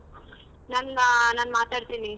ನನ್ನ ನಾನ್ ಮಾತಡತಿನಿ.